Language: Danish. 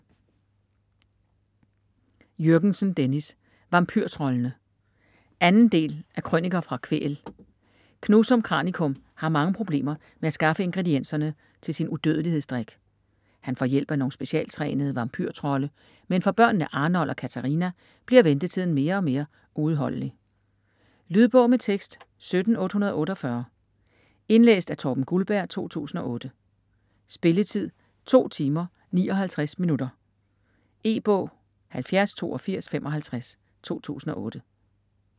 Jürgensen, Dennis: Vampyrtroldene 2. del af Krøniker fra Kvæhl. Knusum Kranikum har mange problemer med at skaffe ingredienserne til sin udødelighedsdrik. Han får hjælp af nogle specialtrænede vampyrtrolde, men for børnene Arnold og Catharina bliver ventetiden mere og mere uudholdelig. Lydbog med tekst 17848 Indlæst af Torben Guldberg, 2008. Spilletid: 2 timer, 59 minutter. E-bog 708255 2008.